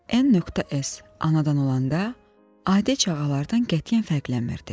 N.S anadan olanda, adi çağalardan qətiyyən fərqlənmirdi.